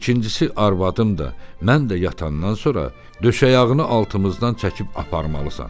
İkincisi, arvadım da, mən də yatandan sonra döşəyağını altımızdan çəkib aparmalısan.